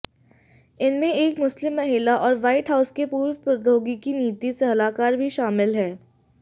इनमें एक मुस्लिम महिला और व्हाइट हाउस के पूर्व प्रौद्योगिकी नीति सलाहकार भी शामिल हैं